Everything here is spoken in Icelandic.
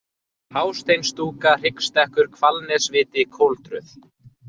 Hásteinsstúka, Hryggstekkur, Hvalnesviti, Koltröð